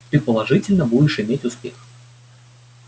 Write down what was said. ты положительно будешь иметь успех